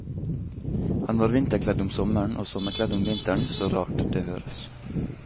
Han var vinterkledd om sommeren og sommerkledd om vinteren, så rart det høres.